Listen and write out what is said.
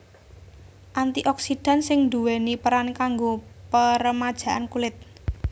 Anti oksidan sing nduwèni peran kanggo peremajaan kulit